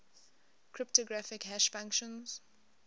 cryptographic hash functions